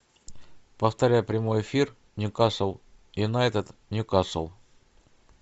повторяй прямой эфир ньюкасл юнайтед ньюкасл